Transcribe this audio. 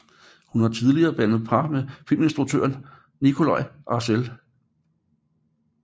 Hun har tidligere dannet par med filminstruktør Nikolaj Arcel